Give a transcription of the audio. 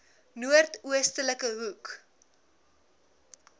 noord oostelike hoek